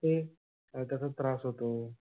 ते कसा त्रास होतो?